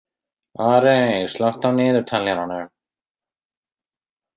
Arey, slökku á niðurteljaranum.